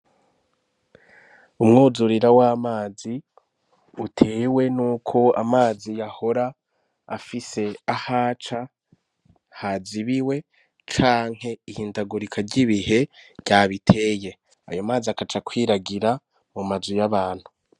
Umwuzurira w'amazi utewe ni uko amazi yahora afise ah’aca hazibiwe canke ihindagurika ry'ibihe ryabiteye ayo mazi agaca kwiragira mu mazu y'abantu.